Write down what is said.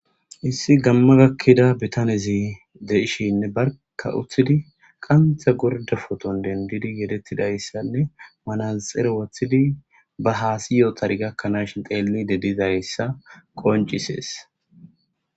issi gamma gakkida bitanezi deishinne barka uttidi qantha gorda foton dendidi yedettidayssanne manazxere wothidi ba haasiyoo tari gakkanaashin teellide didayssa qoncisees